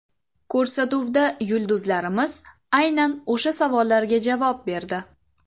Ko‘rsatuvda yulduzlarimiz aynan o‘sha savollarga javob berdi.